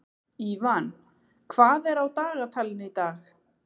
Ívan, hvað er á dagatalinu í dag?